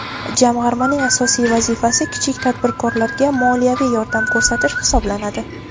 Jamg‘armaning asosiy vazifasi kichik tadbirkorlarga moliyaviy yordam ko‘rsatish hisoblanadi.